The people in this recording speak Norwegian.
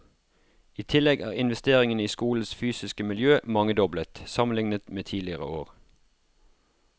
I tillegg er investeringene i skolens fysiske miljø mangedoblet, sammenlignet med tidligere år.